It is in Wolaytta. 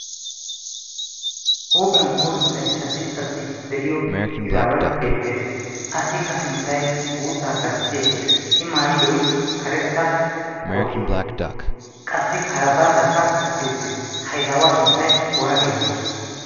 huuphiyan puulunttay caddi caddi de'iyo izaaway beettees. assikka sinttay guuttaa gastti ekkees. i maayidoy karetta kootiyaa qassi kara baataakka qachchi uttiis. hayzaawaa sunttai oona geetetti